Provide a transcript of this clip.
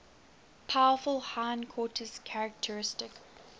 powerful hindquarters characteristic